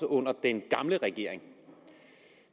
under den gamle regering